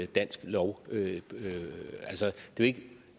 dansk lov altså det